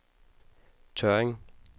Tørring